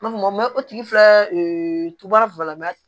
N b'a fɔ mɛ o tigi filɛ e tu b'a